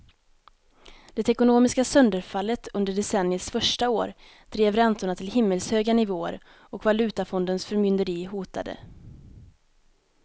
Det ekonomiska sönderfallet under decenniets första år drev räntorna till himmelshöga nivåer och valutafondens förmynderi hotade.